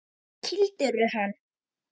Kýldirðu hann?